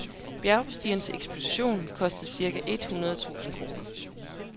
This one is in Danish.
Bjergbestigerens ekspedition kostede cirka et hundrede tusind kroner.